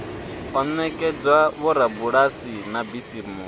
o ekedzwa vhorabulasi na bisimusi